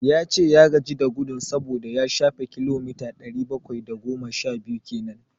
Ya ce ya gaji da gudun saboda ya shafe kilomita ɗari bakwai da goma sha biyu kenan.